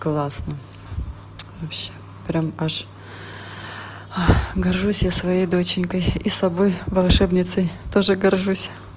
классно вообще прямо аж горжусь я своей доченькой и собой волшебницей тоже горжусь